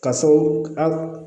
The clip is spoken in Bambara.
K'a fɔ an